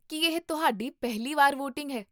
ਕੀ ਇਹ ਤੁਹਾਡੀ ਪਹਿਲੀ ਵਾਰ ਵੋਟਿੰਗ ਹੈ?